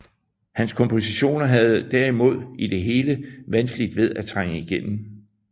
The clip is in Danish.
Hans kompositioner havde derimod i det hele vanskeligt ved at trænge igennem